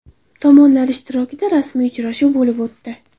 Tomonlar ishtirokida rasmiy uchrashuv bo‘lib o‘tdi.